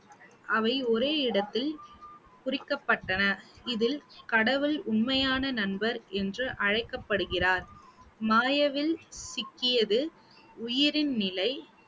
அவை ஒரே இடத்தில் குறிக்கப்பட்டன இதில் கடவுள் உண்மையான நண்பர் என்று அழைக்கப்படுகிறார் சிக்கியது உயிரின் நிலை